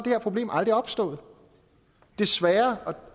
her problem aldrig opstået desværre